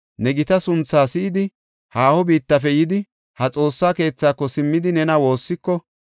ne gita sunthaa si7idi, haaho biittafe yidi, ha Xoossa keethaako simmidi nena woossiko,